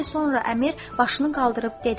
Xeyli sonra əmir başını qaldırıb dedi.